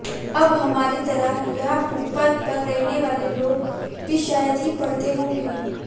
अब हमारी तरह यहां फुटपाथ पर रहने वाले लोग भी शायद ही पढ़ते होंगे